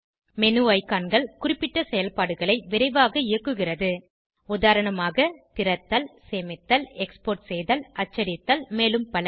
menu ஐகான்கள் குறிப்பிட்ட செயல்பாடுகளை விரைவாக இயக்குகிறது உதாரணமாக திறத்தல் சேமித்தல் எக்ஸ்போர்ட் செய்தல் அச்சடித்தல் மேலும் பல